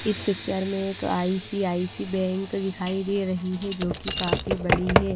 इस पिक्चर में एक आई_सी_आई_सी बैंक दिखाई दे रही है जो कि काफी बड़ी है।